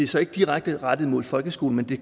så ikke direkte rettet mod folkeskolen men det